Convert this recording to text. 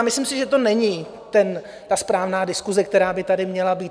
A myslím si, že to není ta správná diskuse, která by tady měla být.